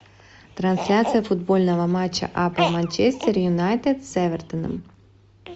трансляция футбольного матча апл манчестер юнайтед с эвертоном